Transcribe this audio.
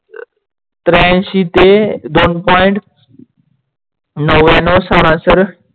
त्र्यांशी ते दोन Point नव्यानव सारासर